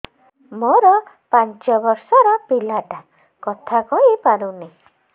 ମୋର ପାଞ୍ଚ ଵର୍ଷ ର ପିଲା ଟା କଥା କହି ପାରୁନି